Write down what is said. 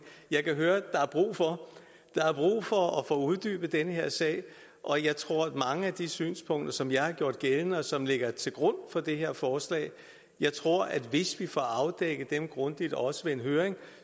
jeg kan høre at der er brug for at få uddybet den her sag og jeg tror at mange af de synspunkter som jeg har gjort gældende og som ligger til grund for det her forslag jeg tror at der hvis vi får afdækket dem grundigt også i en høring